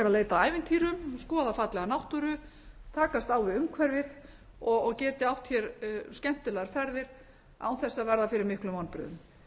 leita að ævintýrum skoða fallega náttúru takast á við umhverfið og geti átt hér skemmtilegar ferðir án þess að verða fyrir miklum vonbrigðum